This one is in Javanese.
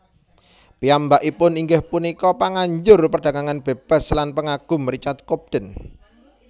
Piyambakipun inggih punika panganjur perdagangan bebas lan pangagum Richard Cobden